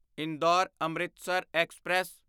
Indore Amritsar express